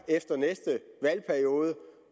efter næste valgperiode